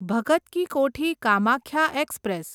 Bhagat ki Kothi Kamakhya express